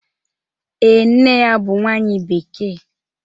Ee, nne ya bụ nwanyị Bekee